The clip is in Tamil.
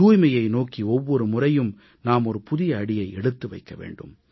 தூய்மையை நோக்கி ஒவ்வொரு முறையும் நாம் ஓர் புதிய அடியை எடுத்து வைக்க வேண்டும்